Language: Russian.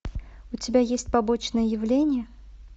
у тебя есть побочное явление